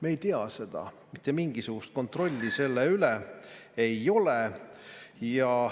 Me ei tea seda, mitte mingisugust kontrolli selle üle ei ole.